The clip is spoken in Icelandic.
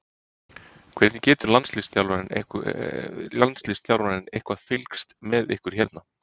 Hvernig getur landsliðsþjálfarinn eitthvað fylgst með ykkur hérna?